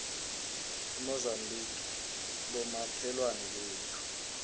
umozambique bomakhelwane bethu